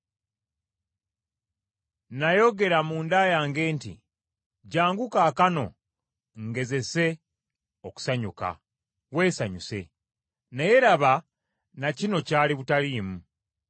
Nayogera munda yange nti, “Jjangu kaakano ngezese okusanyuka. Weesanyuse.” Naye laba, na kino kyali butaliimu.